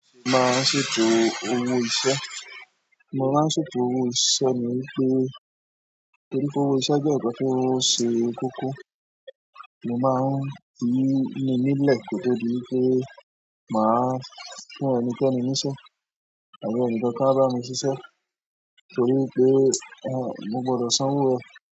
N máa ń ṣètò owó iṣẹ́, mo máa ń ṣètò owó iṣẹ́ ní wípé torí pé owó iṣẹ́ jẹ́ ǹnkan ti o ṣe kókó, mo máa ń ni ni nílẹ̀ ko to dí wipé màá fún ẹnikẹ́ni níṣe àbí ẹnikan ko wa bá mi ṣiṣẹ́ torí ipé a, mo gbọdọ̀ sanwó o.